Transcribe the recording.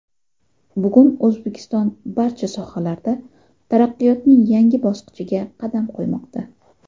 Bugun O‘zbekiston barcha sohalarda taraqqiyotning yangi bosqichiga qadam qo‘ymoqda.